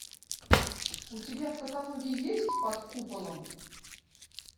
у тебя в каталоге есть под куполом